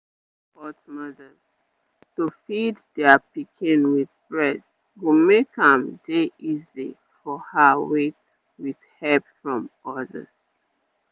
make you dey support mothers to feed their pikin with breast go make am dey easy for her wait with help from others